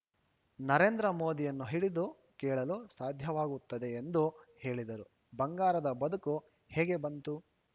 ನರೇಂದ್ರ ಮೋದಿಯನ್ನು ಹಿಡಿದು ಕೇಳಲು ಸಾಧ್ಯವಾಗುತ್ತದೆ ಎಂದು ಹೇಳಿದರು ಬಂಗಾರದ ಬದುಕು ಹೇಗೆ ಬಂತು